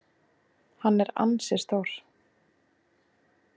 Hann er ansi stór.